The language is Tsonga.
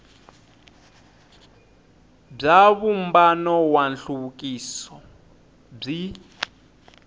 bya vumbano wa nhluvukiso byi